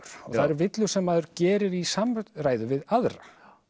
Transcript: það eru villur sem maður gerir í samræðu við aðra